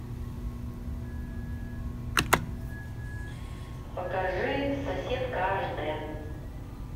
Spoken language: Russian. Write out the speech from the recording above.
покажи соседка аш д